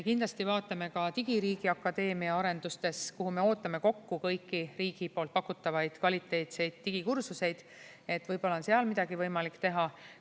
Kindlasti vaatame ka Digiriigi Akadeemia arendustes, kuhu me ootame kokku kõiki riigi pakutavaid kvaliteetseid digikursuseid, et võib-olla on seal midagi võimalik teha.